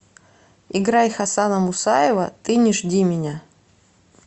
играй хасана мусаева ты не жди меня